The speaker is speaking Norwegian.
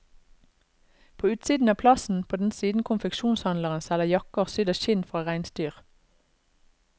På utsiden av plassen, på den siden konfeksjonshandleren selger jakker sydd av skinn fra reinsdyr.